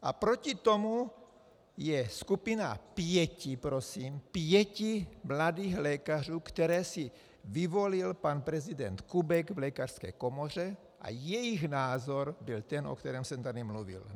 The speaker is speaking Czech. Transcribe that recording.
A proti tomu je skupina pěti prosím - pěti mladých lékařů, které si vyvolil pan prezident Kubek v lékařské komoře, a jejich názor byl ten, o kterém jsem tady mluvil.